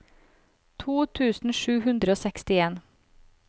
to tusen sju hundre og sekstien